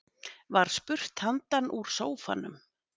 Var spurt handan úr sófanum.